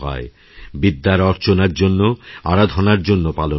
বিদ্যার অর্চনার জন্য আরাধনার জন্য পালন করাহয়